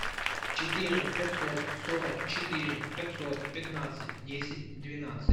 четыре пятьсот сорок четыре пятьсот пятнадцать десять двенадцать